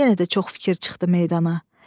Yenə də çox fikir çıxdı meydana.